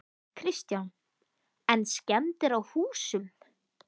Kristján: En skemmdir á húsum?